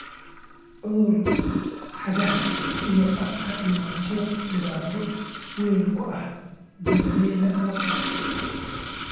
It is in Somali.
Cudurka cagaha iyo afka ayaa dhibaato weyn ku ah beeralayda lo'da.